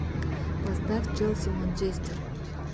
поставь челси манчестер